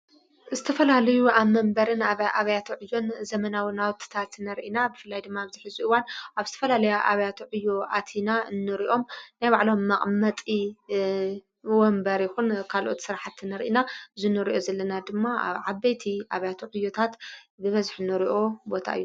ዝተፈላልዩ ኣብ መንበርን ኣብ ኣብያት ዕዮን ዘመናዊ ናውትታት ትነርኢና ብፍላይ ድማ ኣብዝኂ ዙይዋን ኣብ ስትፈላልያ ኣብያት ዕዩ ኣቲና እኖርእኦም ናይባዕሎም ማቕመጢ ወንበር ኢኹን ካልኦት ሥርሓት ትነርኢና ዝኑርኦ ዘለና ድማ ኣብዓበይቲ ኣብያት ዕዮታት ብበዝኅ ኖርኦ ቦታዩ::